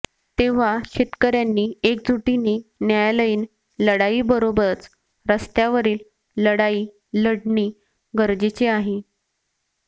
तेव्हा शेतकऱयांनी एकजुटीने न्यायालयीन लढाईबरोबरच रस्त्यावरील लढाई लढणे गरजेचे आहे